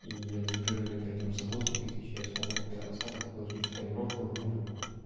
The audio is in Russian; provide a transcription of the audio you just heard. и я заберу её например там за восемь тысяч я смогу на остаток вложить в тонировку в музыку